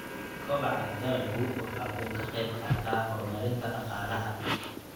Kobaca dalaggu waxa uu ka qayb qaataa horumarinta dhaqaalaha.